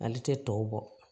Ale tɛ tɔw bɔ